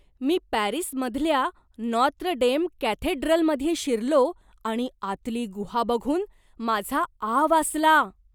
मी पॅरिसमधल्या Notre Dame कॅथेड्रलमध्ये शिरलो आणि आतली गुहा बघून माझा आ वासला.